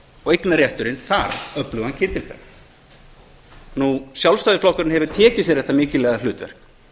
og eignarrétturinn þarf öflugan kyndilbera nú sjálfstæðisflokkurinn hefur tekið sér þetta mikilvæga hlutverk